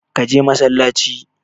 Ka je masallaci!